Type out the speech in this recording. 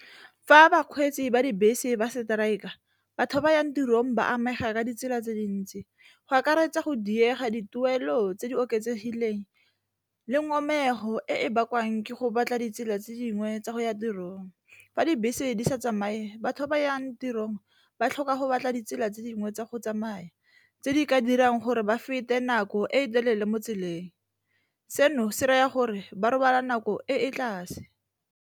Fa bakgweetsi ba dibese ba strike-a batho ba yang tirong ba amega ka ditsela tse dintsi, go akaretsa go diega dituelo tse di oketsegileng le ngomego e e bakwang ke go batla ditsela tse dingwe tsa go ya tirong. Fa dibese di sa tsamaye batho ba ba yang tirong ba tlhoka go batla ditsela tse dingwe tsa go tsamaya, tse di ka dirang gore ba fete nako e telele mo tseleng. Seno se raya gore ba robala nako e e tlase.